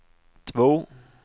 två